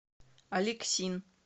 алексин